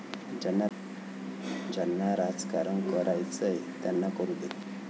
ज्यांना राजकारण करायचंय त्यांना करू दे.